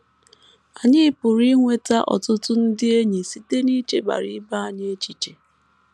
Anyị pụrụ inweta ọtụtụ ndị enyi site n’ichebara ibe anyị echiche.